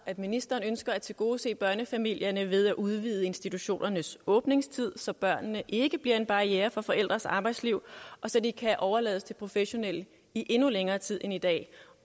at ministeren ønsker at tilgodese børnefamilierne ved at udvide institutionernes åbningstid så børnene ikke bliver en barriere for forældrenes arbejdsliv og så de kan overlades til professionelle i endnu længere tid end i dag